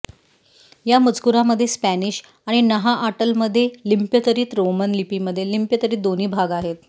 या मजकुरामध्ये स्पॅनिश आणि नहाआटलमध्ये लिप्यंतरित रोमन लिपीमध्ये लिप्यंतरित दोन्ही भाग आहेत